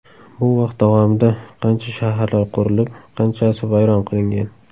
Bu vaqt davomida qancha shaharlar qurilib, qanchasi vayron qilingan.